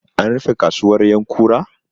An rufe kasuwar ƴankura?